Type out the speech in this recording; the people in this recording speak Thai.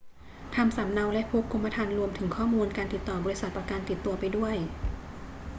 ทำสำเนาและพกกรมธรรม์รวมถึงข้อมูลการติดต่อบริษัทประกันติดตัวไปด้วย